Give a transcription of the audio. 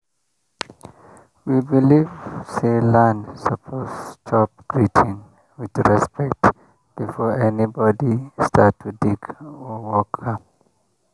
we believe say land suppose chop greeting with respect before anybody start to dig or work am.